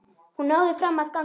Hún náði fram að ganga.